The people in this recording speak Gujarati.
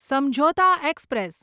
સમઝૌતા એક્સપ્રેસ